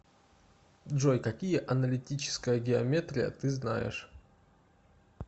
джой какие аналитическая геометрия ты знаешь